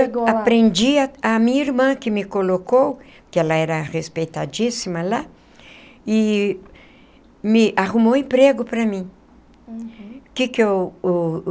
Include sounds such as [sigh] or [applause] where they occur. [unintelligible] eu aprendi a a minha irmã que me colocou, que ela era respeitadíssima lá, e me arrumou um emprego para mim. Uhum. Que que eu o